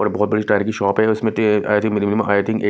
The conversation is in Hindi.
और बहुत बड़ी टायर की शॉप है उसमें I think minimum I think एक--